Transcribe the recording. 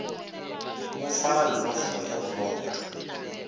mo fa llofo ya borotho